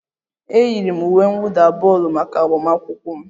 E yiri m uwe mwụda bọọlụ maka agụmakwụkwọ m